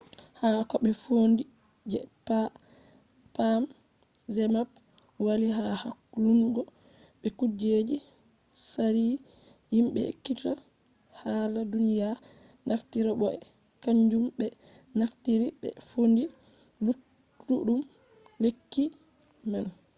ha koɓe fondi je pam zmapp walli ha hakkulungo be kujeji tsari himɓe ekkititta hala duniya naftiri bo be kanjum ɓe naftiri ɓe fondi luttuɗum lekki man